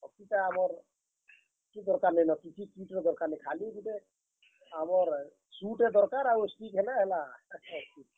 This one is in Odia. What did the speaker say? Hockey ଟା ଆମର୍, କିଛି ଦରକାର୍ ନେ ନ କିଛି kit ର ଦରକାର୍ ନାଇଁ, ଖାଲି ଗୁଟେ, ଆମର shoes ଟେ ଦରକାର୍ ଆଉ stick ହେଲେ ହେଲା ।